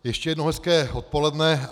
Ještě jednou hezké odpoledne.